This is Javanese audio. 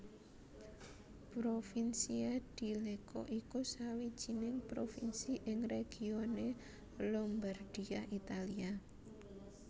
Provincia di Lecco iku sawijining provinsi ing regione Lombardia Italia